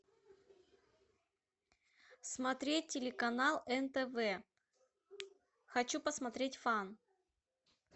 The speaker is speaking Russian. смотреть телеканал нтв хочу посмотреть фан